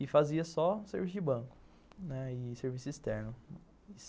E fazia só serviço de banco, né, e serviço externo.